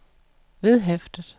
vedhæftet